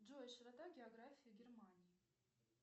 джой широта географии германии